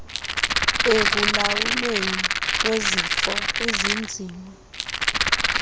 ekulawulweni kwezifo ezinzima